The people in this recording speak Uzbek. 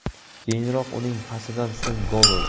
Keyinroq uning pasidan so‘ng gol urdi.